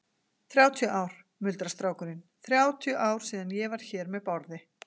Þrjátíu ár, muldrar strákurinn, þrjátíu ár síðan ég var hér með Bárði.